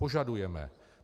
Požadujeme.